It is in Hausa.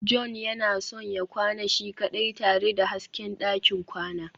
john yana son ya kwana shi kaɗai tare da hasken ɗakin kwana